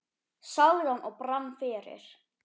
sagði hann og brann fyrir.